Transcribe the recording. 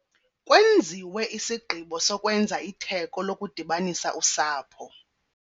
Kwenziwe isigqibo sokwenza itheko lokudibanisa usapho.